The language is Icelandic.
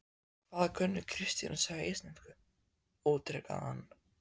Hvað kunni Kristín að segja á íslensku? ítrekaði hann.